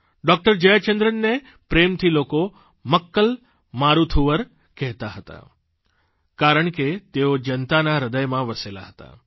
doctor જયાચંદ્રનને પ્રેમથી લોકો મક્કલ મારૂથુવર કહેતા હતા કારણ કે તેઓ જનતાના હૃદયમાં વસેલા હતા